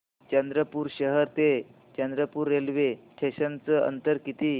चंद्रपूर शहर ते चंद्रपुर रेल्वे स्टेशनचं अंतर किती